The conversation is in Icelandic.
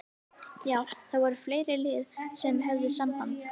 Já það voru fleiri lið sem að höfðu samband.